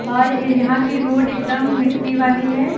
और ये यहां की रोड एकदम मिट्टी वाली है।